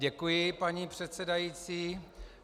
Děkuji, paní předsedající.